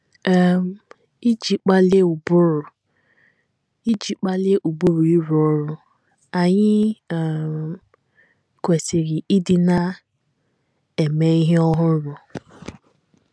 um Iji kpalie ụbụrụ Iji kpalie ụbụrụ ịrụ ọrụ, anyị um kwesịrị ịdị na - eme ihe ọhụrụ.